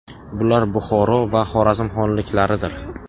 Bular Buxoro va Xorazm xonliklaridir.